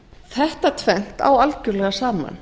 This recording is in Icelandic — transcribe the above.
þetta tvennt á algjörlega saman